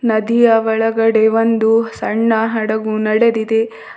ನದಿಯ ಒಳಗಡೆ ಒಂದು ಸಣ್ಣ ಹಡಗು ನಡೆದಿದೆ.